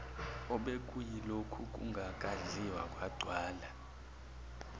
obekuyilokhu kungakadliwa kwagcwala